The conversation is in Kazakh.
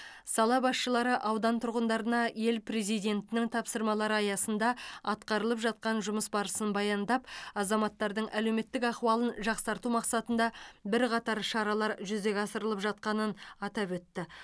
сала басшылары аудан тұрғындарына ел президентінің тапсырмалары аясында атқарылып жатқан жұмыс барысын баяндап азаматтардың әлеуметтік ахуалын жақсарту мақсатында бірқатар шаралар жүзеге асырылып жатқанын атап өтті